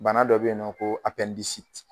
Bana dɔ be yen nɔ koo